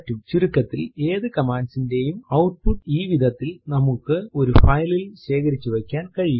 ചുരുക്കത്തിൽ ഏതു command ന്റെയും ഔട്ട്പുട്ട് ഈ വിധത്തിൽ നമ്മൾക്ക് ഒരു file ൽ ശേഖരിച്ചു വയ്ക്കുവാൻ കഴിയും